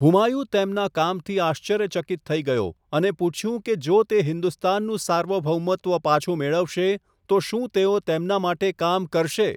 હુમાયુ તેમના કામથી આશ્ચર્યચકિત થઈ ગયો અને પૂછ્યું કે જો તે હિન્દુસ્તાનનું સાર્વભૌમત્વ પાછું મેળવશે તો શું તેઓ તેમના માટે કામ કરશે.